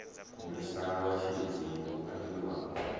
mulisa wa tshilidzi hu ambiwa